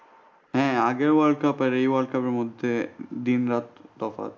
হ্যাঁ আগের world cup আর এই world cup এর মধ্যে দিন রাত তফাৎ।